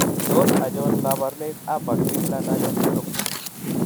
Tos achon kabarunaik aba Crigler Najjar syndrome ?